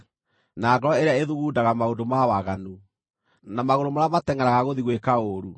na ngoro ĩrĩa ĩthugundaga maũndũ ma waganu, na magũrũ marĩa matengʼeraga gũthiĩ gwĩka ũũru,